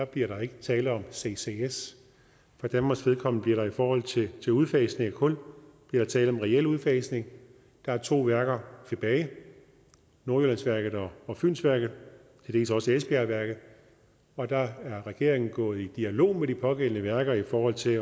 bliver der ikke tale om anvendelse af ccs for danmarks vedkommende bliver der i forhold til til udfasning af kul tale om reel udfasning der er to værker tilbage nordjyllandsværket og fynsværket og til dels også esbjergværket og regeringen er gået i dialog med de pågældende værker i forhold til